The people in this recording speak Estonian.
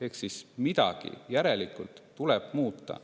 Ehk järelikult tuleb midagi muuta.